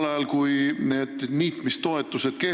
Lugupeetud minister!